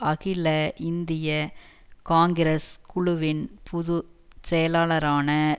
அகில இந்திய காங்கிரஸ் குழுவின் பொது செயலாளரான